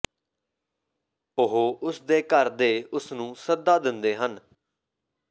ਉਹ ਉਸ ਦੇ ਘਰ ਦੇ ਉਸ ਨੂੰ ਸੱਦਾ ਦਿੰਦੇ ਹਨ